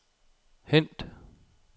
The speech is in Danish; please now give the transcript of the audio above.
hent